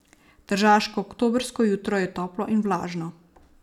Tržaško oktobrsko jutro je toplo in vlažno.